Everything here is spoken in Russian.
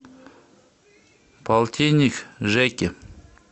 полтинник жеке